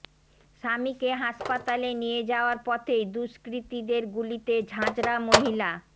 স্বামীকে হাসপাতালে নিয়ে যাওয়ার পথেই দুষ্কৃতীদের গুলিতে ঝাঁঝরা মহিলা